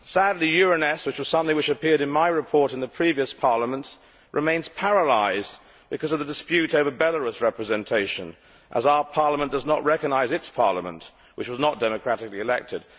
Sadly, Euronest which was something which appeared in my report in the previous parliament remains paralysed because of the dispute over Belarus representation, as our Parliament does not recognise its parliament, which was not democratically elected.